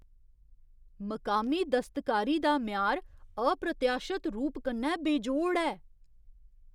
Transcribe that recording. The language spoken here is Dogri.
मकामी दस्तकारी दा म्यार अप्रत्याशत रूप कन्नै बेजोड़ ऐ।